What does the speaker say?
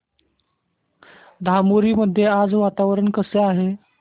धामोरी मध्ये आज वातावरण कसे आहे